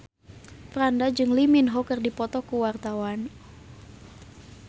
Franda jeung Lee Min Ho keur dipoto ku wartawan